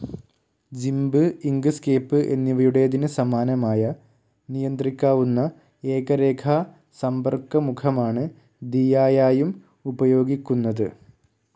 ജിമ്പ്, Inkscape എന്നിവയുടേതിന് സമാനമായ നിയന്ത്രിക്കാവുന്ന ഏക രേഖാ സമ്പർക്കമുഖമാണ് ദിയായായും ഉപയോഗിക്കുന്നത്.